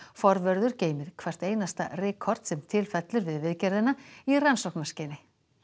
forvörður geymir hvert einasta rykkorn sem til fellur við viðgerðina í rannsóknarskyni